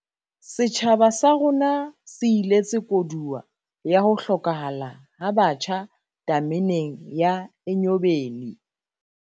Setjhaba sa rona se iletse koduwa ya ho hlokahala ha batjha tameneng ya Enyobeni